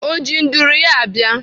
Ọ ji nduru ya abịa?